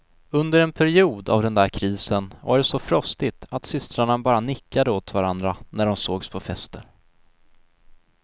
Under en period av den där krisen, var det så frostigt att systrarna bara nickade åt varandra när de sågs på fester.